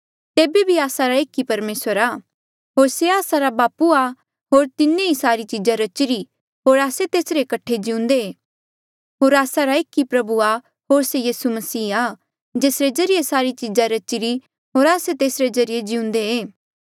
तेबे बी आस्सा रा एक ई परमेसर आ होर से आस्सा रा बापू आ होर तिन्हें ही सारी चीजा रचिरी होर आस्से तेसरे कठे ही जिउंदे होर आस्सा रा एक ई प्रभु आ होर से यीसू मसीह आ जेसरे ज्रीए सारी चीजा रचिरी होर आस्से तेसरे ज्रीए जिउंदे